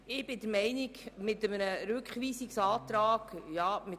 Sie haben den Antrag Machado zu Artikel 41 Absatz 1 abgelehnt.